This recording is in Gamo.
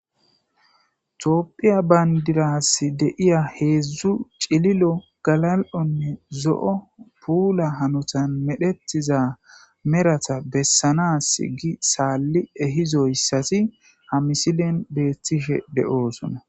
Tophiya pandirasi de'iza hedzu cililo galalonne zo'o pula hanotan medhetiza meratappe besanas sali ehizosazi ha misilean betishe de'eosona